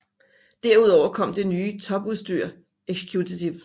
Derudover kom det nye topudstyr Executive